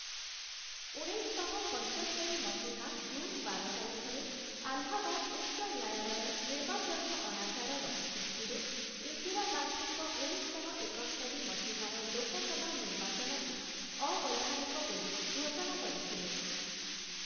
ଉଣେଇଶଶହ ପଞ୍ଚସ୍ତରି ମସିହା ଜୁନ୍ ବାର ତାରିଖରେ ଆହ୍ଲାବାଦ ଉଚ୍ଚ ନ୍ୟାୟାଳୟ ନିର୍ବାଚନୀୟ ଅନାଚାରର ଭିତ୍ତିରେ ଇନ୍ଦିରା ଗାନ୍ଧୀଙ୍କ ଉଣେଇଶଶହ ଏକସ୍ତରି ମସିହାର ଲୋକସଭା ନିର୍ବାଚନକୁ ଅବୈଧାନିକ ବୋଲି ଘୋଷଣା କରିଥିଲେ ।